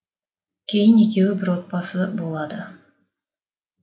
кейін екеуі бір отбасы болады